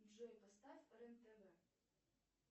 джой поставь рен тв